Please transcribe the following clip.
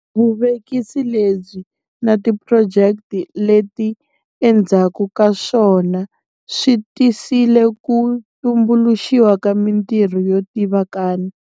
Vuvekisi lebyi na tiphurojeke leti endzhakukaswona swi tisile ku tumbuluxiwa ka mitirho yo tivikana.